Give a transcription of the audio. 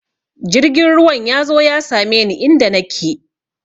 Jirgin ruwan ya zo ya same ni inda nake!